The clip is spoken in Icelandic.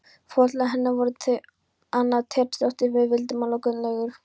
Foreldrar hennar voru þau Anna Teitsdóttir frá Víðidalstungu og Gunnlaugur